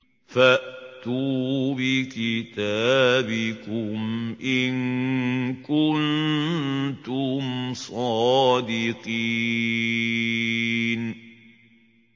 فَأْتُوا بِكِتَابِكُمْ إِن كُنتُمْ صَادِقِينَ